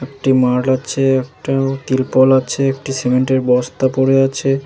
একটি মাল আছে একটা তিরপল আছে একটি সিমেন্টের বস্তা পরে আছে।